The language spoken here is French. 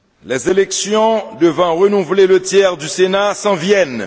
les élections devant renouveler le tiers du Senat s'en viennent